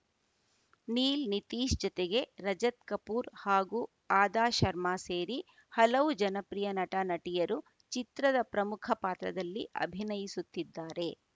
ನೀಲ್‌ ನಿತೀಶ್‌ ಜತೆಗೆ ರಜತ್‌ ಕಪೂರ್‌ ಹಾಗೂ ಆದಾ ಶರ್ಮ ಸೇರಿ ಹಲವು ಜನಪ್ರಿಯ ನಟನಟಿಯರು ಚಿತ್ರದ ಪ್ರಮುಖ ಪಾತ್ರದಲ್ಲಿ ಅಭಿನಯಿಸುತ್ತಿದ್ದಾರೆ